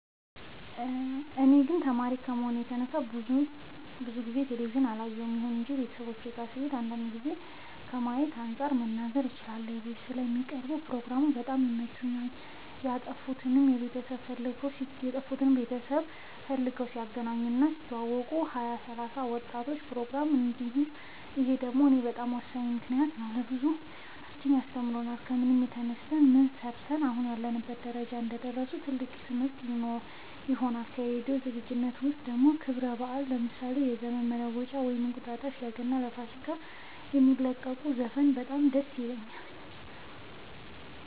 እኔ ግን ተማሪ ከመሆኔ የተነሳ ብዙ ጊዜ ቴሌቪዥን አላይም ይሁን እንጂ ቤተሰቦቼ ጋ ስሄድ አንዳንድ ጊዜ ከማየው አንፃር መናገር እችላለሁ ኢቢኤስ ላይ የሚቀርቡ ፕሮግራሞች በጣም ይመቹኛል የጠፉትን ቤተሰብ ፈልገው ሲያገናኙ እና ሲያስተዋውቁ ሀያ ሰላሳ የወጣቶች ፕሮግራም ይህ ደግሞ ለእኛ በጣም ወሳኝ ነው ምክንያቱም ለእኛ ብዙ ሂወታቸውን ያስተምሩናል ከምን ተነስተው ምን ሰርተው አሁን ላሉበት ደረጃ እንደደረሱ ትልቅ ትምህርት ይሆነናል ከራዲዮ ዝግጅት ውስጥ ደግሞ ለክብረ በአል ለምሳሌ ለዘመን መለወጫ ወይም እንቁጣጣሽ ለገና ለፋሲካ የሚለቁት ዘፈን በጣም ደስ ይለኛል